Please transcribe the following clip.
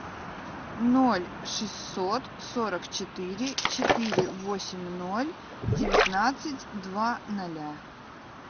ноль шестьсот сорок четыре четыре восемь ноль девятнадцать два ноля